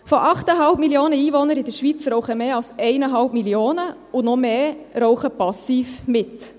Von den 8,5 Mio. Einwohnern in der Schweiz rauchen mehr als 1,5 Mio., und noch mehr rauchen passiv mit.